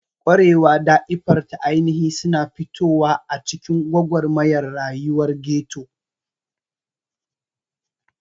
Ƙwarewa da iffar ta ainihi suna fitowa a cikin gwagwarmayar rayuwar ghetto.